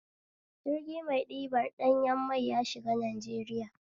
Jirgi mai ɗibar ɗanyan mai yashiga Najeriya